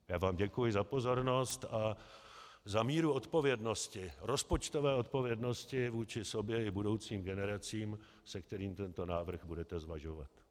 Já vám děkuji za pozornost a za míru odpovědnosti, rozpočtové odpovědnosti vůči sobě i budoucím generacím, se kterou tento návrh budete zvažovat.